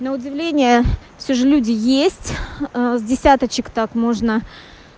на удивление все же люди есть с десяточек так можно